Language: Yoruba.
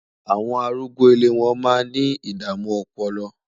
àwọn arúgbó ilé wọn má ní idamu ọpọlọ